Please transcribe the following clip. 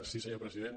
sí senyor president